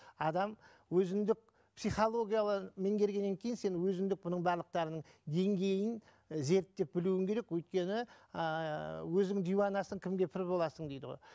адам өзіндік психологияны мергеннен кейін сен өзіндік бұның барлықтарының деңгейін і зерттеп білуің керек өйткені ыыы өзің диуанасың кімге пір боласың дейді ғой